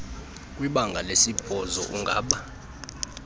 kwibanga lesibhozo ungaba